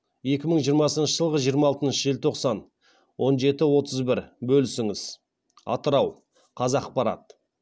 екі мың жиырмасыншы жылғы жиырма алтыншы желтоқсан он жеті отыз бір бөлісіңіз атырау қазақпарат